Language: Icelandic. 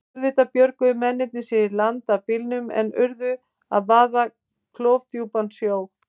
Auðvitað björguðu mennirnir sér í land af bílnum en urðu að vaða klofdjúpan sjó.